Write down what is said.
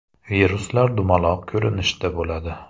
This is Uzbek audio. Viruslar dumaloq ko‘rinishda bo‘ladi.